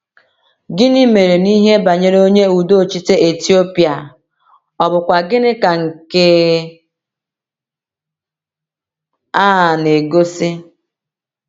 Gịnị mere n’ihe banyere onye udochite Etiopịa, ọ̀ bụkwa gịnị ka nke a na-egosi?